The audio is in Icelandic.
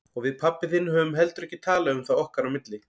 Og við pabbi þinn höfum heldur ekki talað um það okkar á milli.